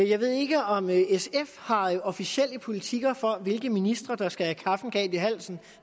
jeg ved ikke om sf har officielle politikker for hvilke ministre der skal have kaffen galt i halsen